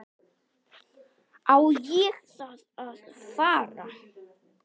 Á ég þá að fara.